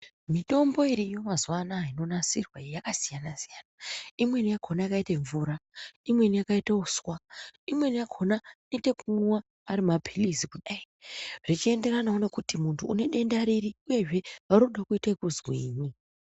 Mitombo iriyo mazuwa anaya inonasirwa iyi yakasiyana-siyana. Imweni yakhona yakaita mvura, imweni yakaite uswa, imweni yakhona inoite ekumwiwa ari mapilizi kudai, zvechienderanawo nekuti muntu une denda riri, uyezve varikuda kuita ekuzwini.